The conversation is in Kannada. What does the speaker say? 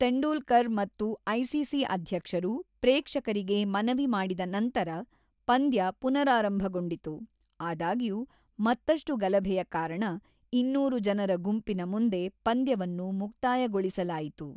ತೆಂಡೂಲ್ಕರ್ ಮತ್ತು ಐಸಿಸಿ ಅಧ್ಯಕ್ಷರು ಪ್ರೇಕ್ಷಕರಿಗೆ ಮನವಿ ಮಾಡಿದ ನಂತರ ಪಂದ್ಯ ಪುನರಾರಂಭಗೊಂಡಿತು; ಆದಾಗ್ಯೂ, ಮತ್ತಷ್ಟು ಗಲಭೆಯ ಕಾರಣ ಇನ್ನೂರು ಜನರ ಗುಂಪಿನ ಮುಂದೆ ಪಂದ್ಯವನ್ನು ಮುಕ್ತಾಯಗೊಳಿಸಲಾಯಿತು.